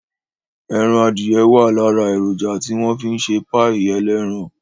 Ẹran adìye wà lára èròjà tí wọ́n fi ń ṣe páì ẹlẹ́ran